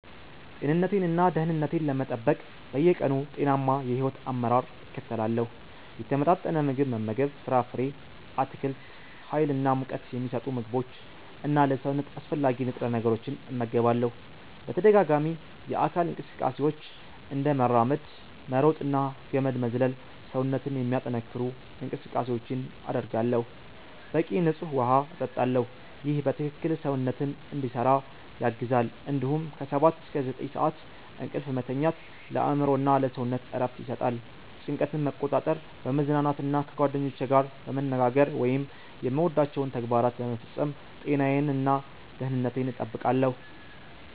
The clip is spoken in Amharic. ጤንነቴን እና ደህንነቴን ለመጠበቅ በየቀኑ ጤናማ የሕይወት አመራር እከተላለሁ። የተመጣጠነ ምግብ መመገብ ፍራፍሬ፣ አትክልት፣ ሀይል እና ሙቀት ሚሰጡ ምግቦች እና ለሰውነት አስፈላጊ ንጥረ ነገሮችን እመገባለሁ። በተደጋጋሚ የአካል እንቅስቃሴዎች፤ እንደ መራመድ፣ መሮጥ እና ገመድ መዝለል ሰውነትን የሚያጠነክሩ እንቅስቃሴዎችን አደርጋለሁ። በቂ ንፁህ ውሃ እጠጣለሁ ይህ በትክክል ሰውነትን እንዲሰራ ያግዛል እንዲሁም ከ 7–9 ሰዓት እንቅልፍ መተኛት ለአእምሮ እና ለሰውነት እረፍት ይሰጣል። ጭንቀትን መቆጣጠር፣ በመዝናናት እና ከጓደኞቼ ጋር በመነጋገር ወይም የምወዳቸውን ተግባራት በመፈጸም ጤናዬን እና ደህንነቴን እጠብቃለሁ።